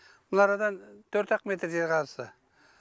мына арадан төрт ақ метр жер қазды